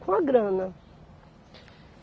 Com a grana.